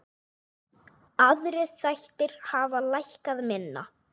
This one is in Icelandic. Aðrir þættir hafa lækkað minna.